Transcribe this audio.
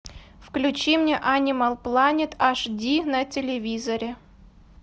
включи мне анимал планет аш ди на телевизоре